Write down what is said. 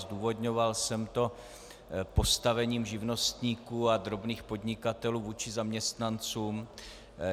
Zdůvodňoval jsem to postavením živnostníků a drobných podnikatelů vůči zaměstnancům.